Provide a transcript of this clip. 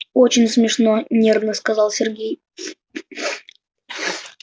очень смешно нервно сказал сергей